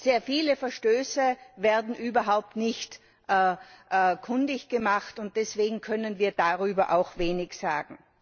Sehr viele Verstöße werden überhaupt nicht kundig gemacht, und deswegen können wir darüber auch wenig sagen.